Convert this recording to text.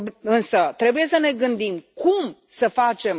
Însă trebuie să ne gândim cum să facem.